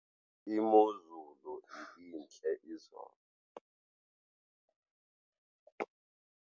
Imozulu ibintle izolo.